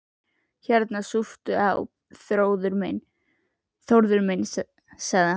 Hérna, súptu á, Þórður minn sagði hann.